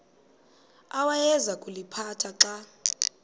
awayeza kuliphatha xa